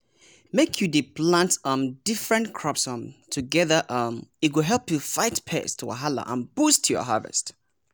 make you dey plant um different crops um together um e go help you fight pest wahala and boost your harvest!